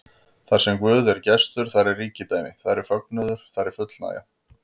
Þarsem Guð er gestur, þar er ríkidæmi, þar er fögnuður, þar er fullnægja.